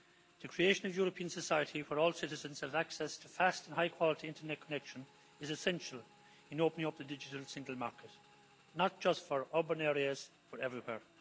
The creation of a European society where all citizens have access to fast and high quality internet connection is essential in opening up the digital single market, not just for urban areas but everywhere.